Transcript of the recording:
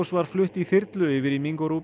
var flutt í þyrlu yfir í